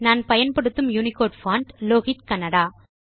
நான் பயன்படுத்தும் Unicode font Lohit Kannada